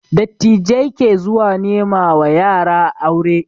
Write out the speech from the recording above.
Dattijai ke zuwa nema wa yara aure